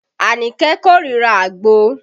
Anike korira àgbo